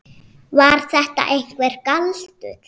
Var þetta einhver galdur?